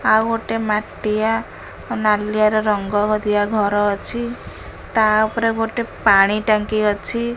ଆଉ ଗୋଟେ ଆଉ ମାଟିଆ ନାଲିଆ ର ରଙ୍ଗ ଦିଆ ଘର ଅଛି ତା ଉପରେ ଗୋଟେ ପାଣି ଟାଙ୍କି ଅଛି।